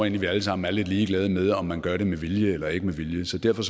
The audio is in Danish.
at vi alle sammen er lidt ligeglade med om man gør det med vilje eller ikke med vilje så derfor